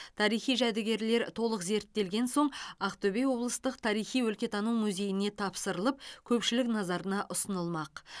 тарихи жәдігерлер толық зерттелген соң ақтөбе облыстық тарихи өлкетану музейіне тапсырылып көпшілік назарына ұсынылмақ